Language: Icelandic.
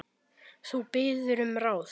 Þú biður um ráð.